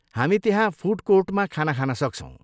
हामी त्यहाँ फुड कोर्टमा खाना खान सक्छौँ।